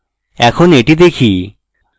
এখন এটি দেখি